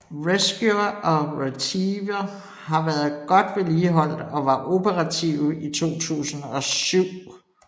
Rescuer og Retriever har været godt vedligeholdt og var operative i 2007